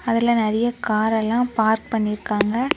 அதுல நெறைய கார் எல்லா பார்க் பண்ணிருக்காங்க.